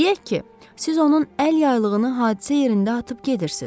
Deyək ki, siz onun əl yaylığını hadisə yerindən atıb gedirsiz.